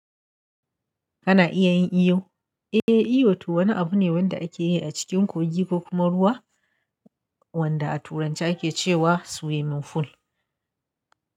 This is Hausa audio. Kana iya yin iyo? Eh, iyo to wani abu ne wanda ake yi a cikin koji ko kuma ruwa wanda a turanci ake cewa swimming pool.